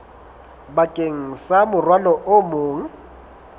bakeng sa morwalo o mong